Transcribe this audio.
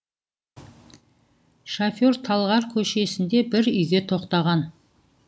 шофер талғар көшесінде бір үйге тоқтаған